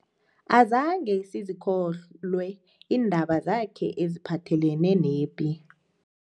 Azange sizikholwe iindaba zakhe eziphathelene nepi.